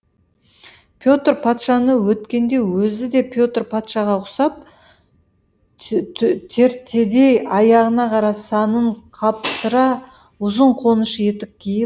петр патшаны өткенде өзі де петр патшаға ұқсап тертедей аяғына қара санын қаптыра ұзын қоныш етік киіп